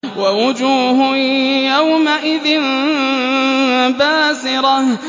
وَوُجُوهٌ يَوْمَئِذٍ بَاسِرَةٌ